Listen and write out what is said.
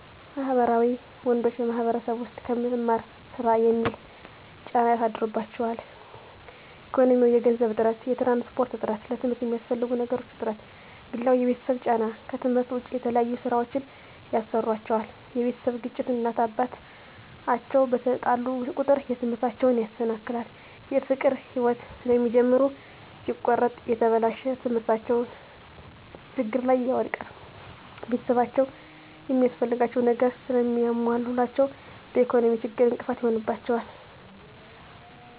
ማህበራዊ ወንዶች በማህበረሰቡ ዉስጥ ከምትማር ስራ የሚል ጫና ያሳድሩባቸዋል። ኢኮኖሚያዊ የገንዘብ እጥረት፣ የትራንስፖርት እጥረት፣ ለትምርት የሚያስፈልጉ ነገሮች እጥረት፣ ግላዊ የቤተሰብ ጫና ከትምህርት ዉጭ የተለያዩ ስራወችን ያሰሩአቸዋል የቤተሰብ ግጭት እናት እና አባት አቸዉ በተጣሉ ቁጥር ትምህርታቸዉን ያሰናክላል። የፍቅር ህይወት ስለሚጀምሩ ሲቆረጥ የተበላሸ ትምህርታቸዉን ችግር ላይ ይወድቃል። ቤተሰብአቸዉ የሚያስፈልጋቸዉን ነገር ስለማያሞሉላቸዉ በኢኮኖሚ ችግር እንቅፋት ይሆንባቸዋል።